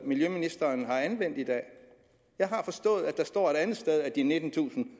miljøministeren har anvendt i dag jeg har forstået at der står et andet sted at de nittentusind